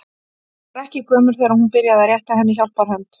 Hún var ekki gömul þegar hún byrjaði að rétta henni hjálparhönd.